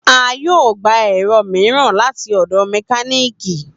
A yoo gba ẹrọ miiran lati ọdọ mekaniki